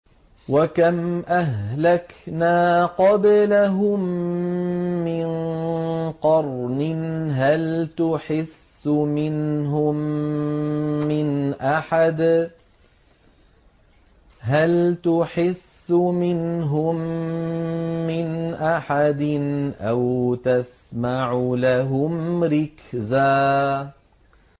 وَكَمْ أَهْلَكْنَا قَبْلَهُم مِّن قَرْنٍ هَلْ تُحِسُّ مِنْهُم مِّنْ أَحَدٍ أَوْ تَسْمَعُ لَهُمْ رِكْزًا